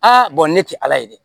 ne tɛ ala ye dɛ